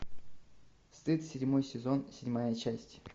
стыд седьмой сезон седьмая часть